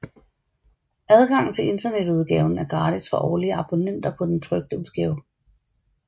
Adgang til internetudgaven er gratis for årlige abonnenter på den trykte udgave